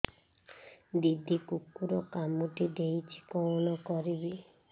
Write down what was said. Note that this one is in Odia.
ଦିଦି କୁକୁର କାମୁଡି ଦେଇଛି କଣ କରିବି